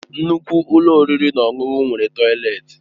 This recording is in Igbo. Nnukwu ụlọ oriri na ọṅụṅụ nwere tọileti